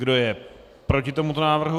Kdo je proti tomuto návrhu?